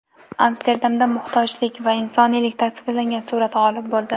Amsterdamda muhtojlik va insoniylik tasvirlangan surat g‘olib bo‘ldi .